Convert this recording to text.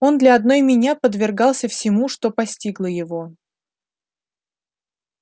он для одной меня подвергался всему что постигло его